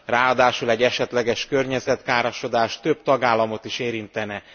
Ráadásul egy esetleges környezetkárosodás több tagállamot is érintene.